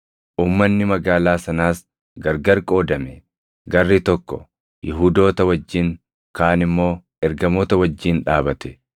Uummanni magaalaa sanaas gargar qoodame; garri tokko Yihuudoota wajjin, kaan immoo ergamoota wajjin dhaabate.